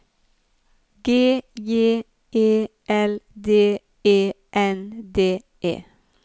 G J E L D E N D E